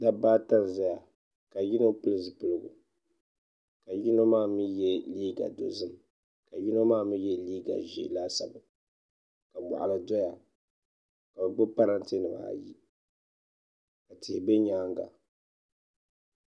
Dabba ata n ʒɛya ka yino pili zipiligu ka yino maa mii yɛ liiga dozim ka yino maa mii yɛ liiga ʒiɛ laasabu ka moɣali doya ka bi gbubi parantɛ nimaa ayi ka tihi bɛ nyaanga